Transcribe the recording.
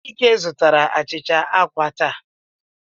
Chike zụtara achịcha àkwá taa.